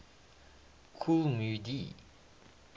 kool moe dee